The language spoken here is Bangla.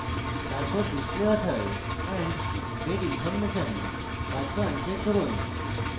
তারপর display author and date information box uncheck করুন